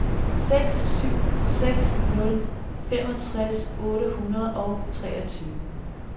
syv seks seks nul femogtres otte hundrede og treogtyve